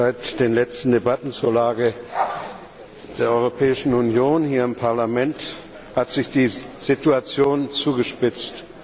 Seit den letzten Debatten zur Lage der Europäischen Union hier im Parlament hat sich die Situation zugespitzt.